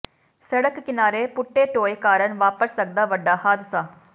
ਸੜਕ ਕਿਨਾਰੇ ਪੁੱਟੇ ਟੋਏ ਕਾਰਨ ਵਾਪਰ ਸਕਦਾ ਵੱਡਾ ਹਾਦਸਾ